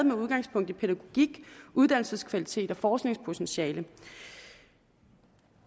med udgangspunkt i pædagogik uddannelseskvalitet og forskningspotentiale